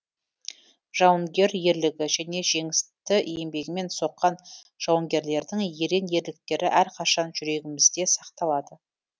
жауынгер ерлігі және жеңісті еңбегімен соққан жауынгерлердің ерен ерліктері әрқашанда жүрегімізде сақталады